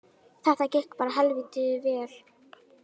Þetta gekk bara helvíti vel